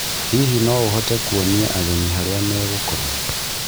Hihi no ũhote kuonia ageni harĩa megokoma ?